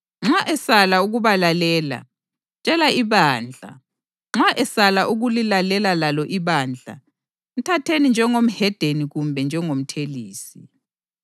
Nxa esala ukubalalela, tshela ibandla, nxa esala ukulilalela lalo ibandla mthatheni njengomhedeni kumbe njengomthelisi.